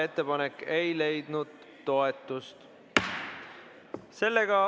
Ettepanek ei leidnud toetust.